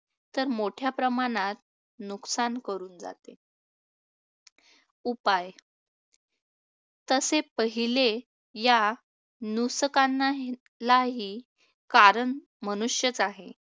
तर मोठ्या प्रमाणात नुकसान करून जाते. उपाय तसे पहिले या नुसकांनालाही कारण मनुष्यच आहे,